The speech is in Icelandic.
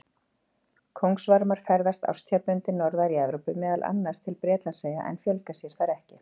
Kóngasvarmar ferðast árstíðabundið norðar í Evrópu, meðal annars til Bretlandseyja, en fjölga sér þar ekki.